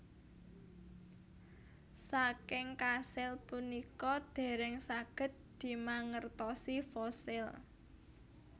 Saking kasil punika dèrèng saged dimangertosi fosil